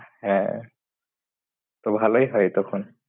হ্যাঁ, তো ভালোই হয় তখন